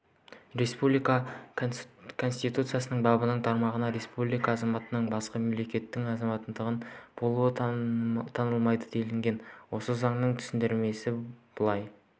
республика конституциясының бабының тармағында республика азаматының басқа мемлекеттің азаматтығында болуы танылмайды делінген осы заңның түсіндірмесінде былай